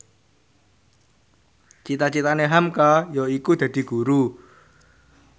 cita citane hamka yaiku dadi guru